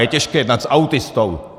Je těžké jednat s autistou.